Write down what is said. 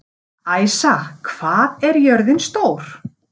Æsa, hvað er jörðin stór?